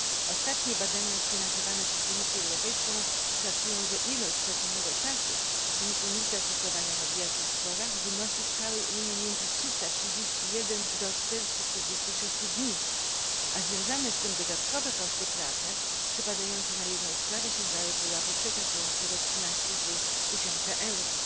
Ostatnie badania sfinansowane przez Komisję Europejską szacują, że ilość straconego czasu w wyniku niezastosowania mediacji w sporach wynosi w całej Unii między 331 do 446 dni, a związane z tym dodatkowe koszty prawne przypadające na jedną sprawę sięgają pułapu przekraczającego 13,5 tysiąca euro.